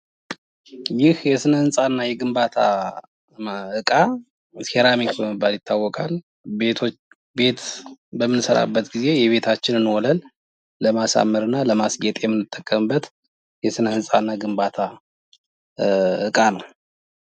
ይህ የስነ-ሕንጻና የግንባታ እቃ ሴራሚክ በመባል ይታወቃል ፤ ቤት በምንሰራበት ጊዜ የቤታችንን ወለል ለማስዋብ እና ለማስጌጥ የምንጠቀምበት የስነ-ሕንጻ እና ግንባታ እቃ ነው።